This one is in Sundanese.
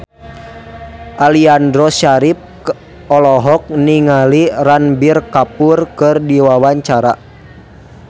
Aliando Syarif olohok ningali Ranbir Kapoor keur diwawancara